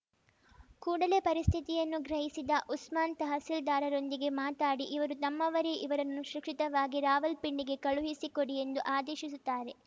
ಕೂಡಲೇ ಪರಿಸ್ಥಿತಿಯನ್ನು ಗ್ರಹಿಸಿದ ಉಸ್ಮಾನ್‌ ತಹಸೀಲ್ದಾರರೊಂದಿಗೆ ಮಾತಾಡಿ ಇವರು ನಮ್ಮವರೇ ಇವರನ್ನು ಸುಕ್ಷಿತವಾಗಿ ರಾವಲ್ಪಿಂಡಿಗೆ ಕಳುಹಿಸಿ ಕೊಡಿ ಎಂದು ಆದೇಶಿಸುತ್ತಾರೆ